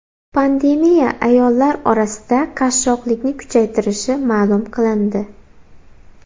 Pandemiya ayollar orasida qashshoqlikni kuchaytirishi ma’lum qilindi.